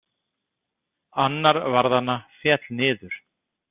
Annar varðanna féll niður.